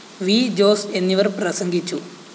V Jose എന്നിവര്‍ പ്രസംഗിച്ചു